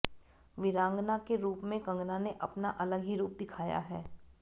वीरांगना के रूप में कंगना ने अपना अलग ही रूप दिखाया है